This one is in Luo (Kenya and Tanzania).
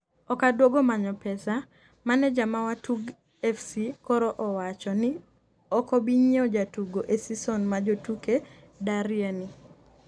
okaduogo manyo pesa- maneja ma Watug fc koro owacho ni okobinyiewo jatugo e sison ma jotuke darye ni